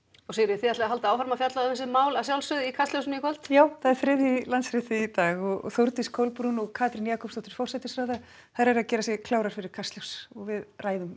þið haldið áfram að fjalla um þessi mál í Kastljósi í kvöld já það er þriðji í Landsrétti í dag og Þórdís Kolbrún og Katrín Jakobsdóttir eru að gera sig klárar fyrir Kastljós við ræðum